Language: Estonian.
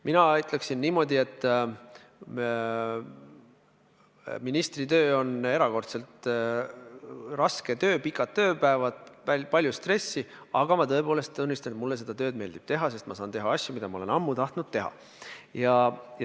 Mina ütleksin niimoodi, et ministritöö on erakordselt raske töö – pikad tööpäevad, palju stressi –, aga ma tõepoolest tunnistan, et mulle seda tööd meeldib teha, sest ma saan teha asju, mida ma olen ammu tahtnud teha.